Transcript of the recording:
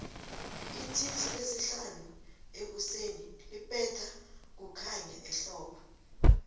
itixi lesihanu ekuseni libetha kukhanya ehbbo